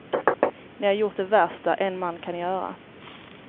Ni har gjort det värsta en man kan göra.